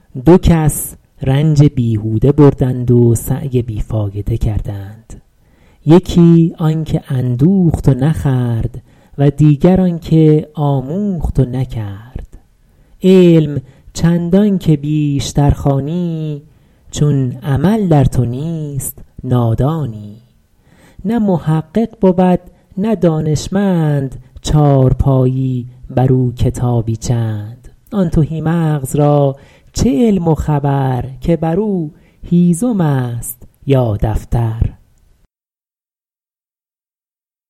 دو کس رنج بیهوده بردند و سعی بی فایده کردند یکی آن که اندوخت و نخورد و دیگر آن که آموخت و نکرد علم چندان که بیشتر خوانی چون عمل در تو نیست نادانی نه محقق بود نه دانشمند چارپایی بر او کتابی چند آن تهی مغز را چه علم و خبر که بر او هیزم است یا دفتر